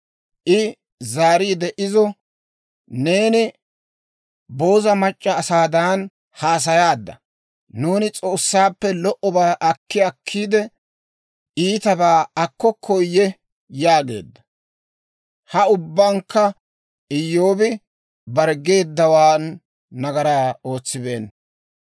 I zaariide izo, «Neeni booza mac'c'a asaadan haasayaadda. Nuuni S'oossaappe lo"obaa akki akkiide, iitabaa akkokkoyye?» yaageedda. Ha ubbankka Iyyoobi bare geeddawaan nagaraa ootsibeenna.